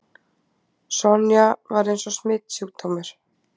Sonja var eins og smitsjúkdómur.